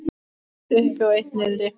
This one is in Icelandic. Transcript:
Eitt uppi og eitt niðri.